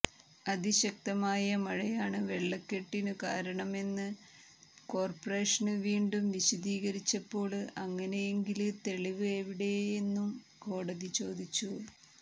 അതിശക്തമായ മഴയാണ് വെള്ളക്കെട്ടിനു കാരണമെന്ന് കോര്പറേഷന് വീണ്ടും വിശദീകരിച്ചപ്പോള് അങ്ങനെയെങ്കില് തെളിവ് എവിടെയെന്നും കോടതി ചോദിച്ചു